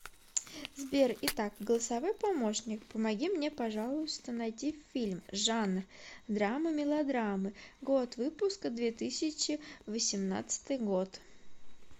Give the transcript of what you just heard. сбер итак голосовой помощник помоги мне пожалуйста найти фильм жанр драмы мелодрамы год выпуска две тысячи восемнадцатый год